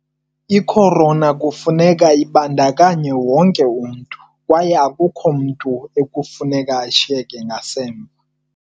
I-Corona kufuneka kubandakanye wonke umntu, kwaye akukho mntu ekufuneka ashiyeke ngasemva.